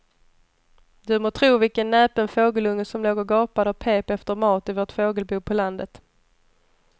Du må tro vilken näpen fågelunge som låg och gapade och pep efter mat i vårt fågelbo på landet.